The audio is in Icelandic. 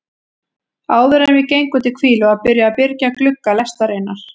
Áðuren við gengum til hvílu var byrjað að byrgja glugga lestarinnar.